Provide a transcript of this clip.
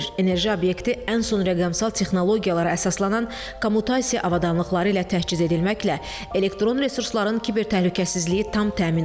Enerji obyekti ən son rəqəmsal texnologiyalara əsaslanan kommutasiya avadanlıqları ilə təchiz edilməklə, elektron resursların kiber təhlükəsizliyi tam təmin olunub.